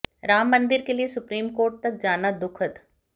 राम मंदिर के लिए सुप्रीम कोर्ट तक जाना दुखद